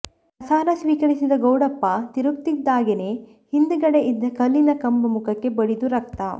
ಪ್ರಸಾದ ಸ್ವೀಕರಿಸಿ ಗೌಡಪ್ಪ ತಿರುಗ್ತಿದ್ದಾಗೆನೇ ಹಿಂದಗಡೆ ಇದ್ದ ಕಲ್ಲಿನ ಕಂಬ ಮುಖಕ್ಕೆ ಬಡಿದು ರಕ್ತ